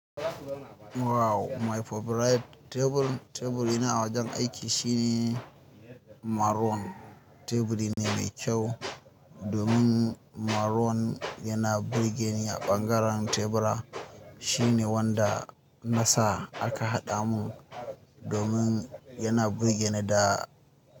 Wow! My favorite tebur, teburi na a wajen aiki shine maroon. Teburi ne mai kyau domin maroon yana burge ni a ɓangaren tebura. Shine wanda na sa aka haɗa mun domin yana burge ni da.